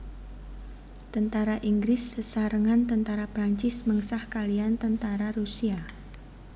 Tentara Inggris sesarengan tentara Prancis mengsah kaliyan tentara Rusia